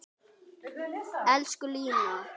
Elsku Lína.